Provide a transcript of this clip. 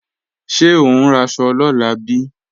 Ṣé ò ń raṣọ lọ́la bí?